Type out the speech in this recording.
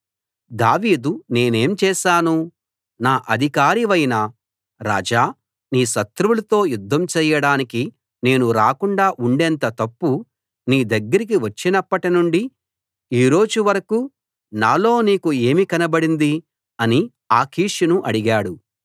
దావీదు నేనేం చేశాను నా అధికారివైన రాజా నీ శత్రువులతో యుద్ధం చేయడానికి నేను రాకుండా ఉండేంత తప్పు నీ దగ్గరికి వచ్చినప్పటినుండి ఈ రోజు వరకూ నాలో నీకు ఏమి కనబడింది అని ఆకీషును అడిగాడు